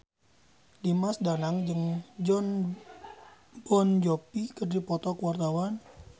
Dimas Danang jeung Jon Bon Jovi keur dipoto ku wartawan